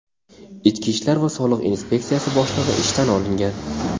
ichki ishlar va soliq inspeksiyasi boshlig‘i ishdan olingan.